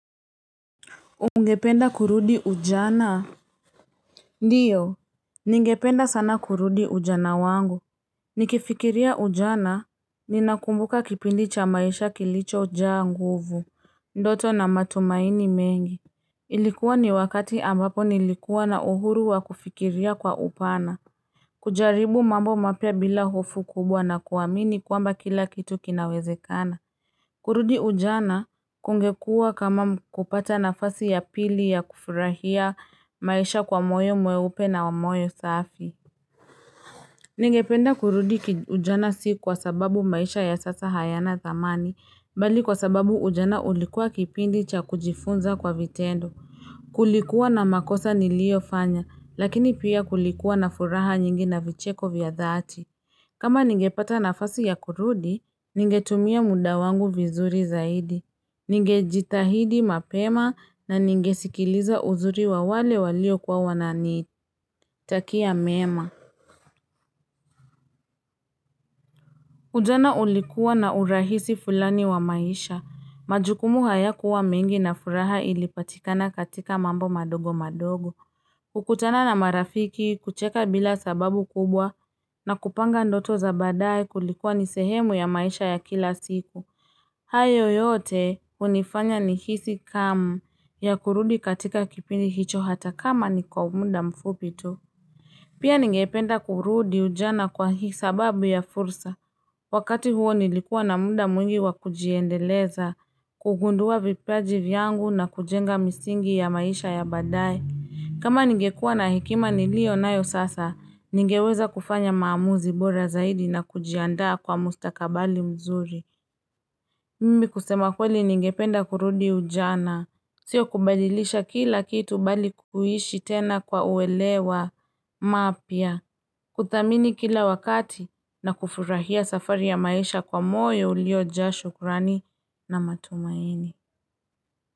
Ungependa kurudi ujana? Ndiyo, ningependa sana kurudi ujana wangu. Nikifikiria ujana, ninakumbuka kipindi cha maisha kilicho jaa nguvu, ndoto na matumaini mengi. Ilikuwa ni wakati ambapo nilikuwa na uhuru wa kufikiria kwa upana. Kujaribu mambo mapya bila hofu kubwa na kuamini kwamba kila kitu kinawezekana. Kurudi ujana kungekuwa kama kupata nafasi ya pili ya kufurahia maisha kwa moyo mweupe na wa moyo safi. Ningependa kurudi ujana si kwa sababu maisha ya sasa hayana dhamani, bali kwa sababu ujana ulikuwa kipindi cha kujifunza kwa vitendo. Kulikuwa na makosa niliyo fanya, lakini pia kulikuwa na furaha nyingi na vicheko vya dhati. Kama ningepata nafasi ya kurudi, ningetumia muda wangu vizuri zaidi. Nigejitahidi mapema na ningesikiliza uzuri wa wale walio kuwa wananitakia mema Ujana ulikuwa na urahisi fulani wa maisha majukumu hayakuwa mingi na furaha ilipatikana katika mambo madogo madogo kukutana na marafiki kucheka bila sababu kubwa na kupanga ndoto za badaye kulikuwa ni sehemu ya maisha ya kila siku hayo yote hunifanya nihisi hamu ya kurudi katika kipindi hicho hata kama ni kwa muda mfupi tu. Pia ningependa kurudi ujana kwa hii sababu ya fursa. Wakati huo nilikua na muda mwingi wakujiendeleza, kugundua vipaji vyangu na kujenga misingi ya maisha ya baadaye kama ningekua na hekima nilio nayo sasa, ningeweza kufanya maamuzi bora zaidi na kujiandaa kwa mustakabli mzuri. Mimi kusema kweli ningependa kurudi ujana. Sio kubadilisha kila kitu bali kuishi tena kwa uelewa mapya. Kuthamini kila wakati na kufurahia safari ya maisha kwa moyo ulio jaa shukrani na matumaini.